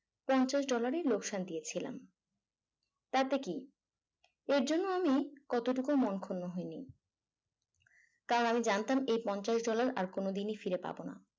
পঞ্চাশ dollar ই লোকসান দিয়েছিলাম তাতে কি এর জন্য আমি কতটুকু মন ক্ষুন্ন হয়নি কারণ আমি জানতাম এই পঞ্চাশ dollar আর কোনদিনই ফিরে পাবোনা